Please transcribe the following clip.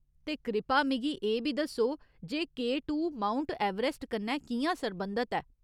ते कृपा मिगी एह् बी दस्सो जे के टू माउंट एवरेस्ट कन्नै कि'यां सरबंधत ऐ।